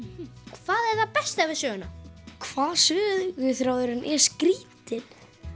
hvað er það besta við söguna hvað söguþráðurinn er skrítinn